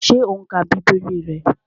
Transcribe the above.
Ṣé o n ka bíbélì rẹ?